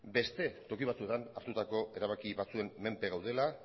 beste toki batzuetan hartutako erabaki batzuen menpe gaudela